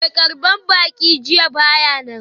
Mai karbar baki jiya ba ya nan.